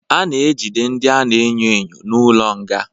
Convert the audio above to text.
A na-ejide ndị a na-enyo enyo n'ụlọ nga.